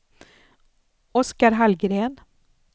Oskar Hallgren